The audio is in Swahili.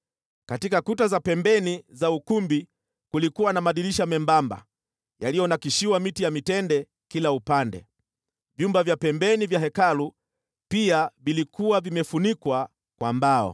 Katika kuta za pembeni za ukumbi kulikuwa na madirisha membamba yaliyonakshiwa miti ya mitende kila upande. Vyumba vya pembeni vya Hekalu pia vilikuwa vimefunikwa kwa mbao.